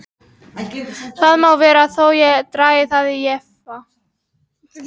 Það má vera þó ég dragi það í efa.